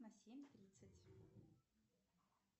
на семь тридцать